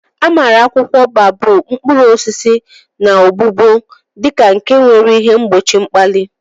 Amara akwụkwọ baobab, mkpụrụ osisi, na ogbugbo di ka nke nwere ihe mgbochi mkpali.